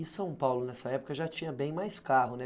E São Paulo, nessa época, já tinha bem mais carro, né?